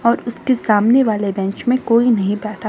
और उसके सामने वाले बेंच में कोई नहीं बैठा--